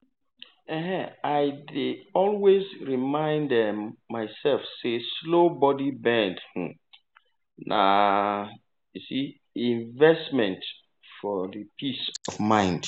i dey always remind um myself say slow body bend um na um investment for for peace of mind.